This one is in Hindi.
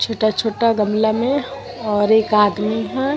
छोटा-छोटा गमला में और एक आदमी है ।